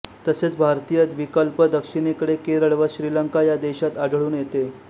तसेच भारतीय द्विकल्पदक्षिणेकडे केरळ व श्रीलंका या देशात आढळून येते